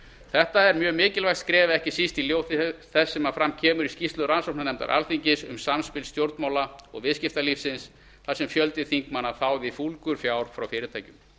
þetta er mjög mikilvægt skref ekki síst í ljósi þess sem fram kemur í skýrslu rannsóknarnefndar alþingis um samspil stjórnmála og viðskiptalífsins þar sem fjöldi þingmanna þáði fúlgur fjár frá fyrirtækjum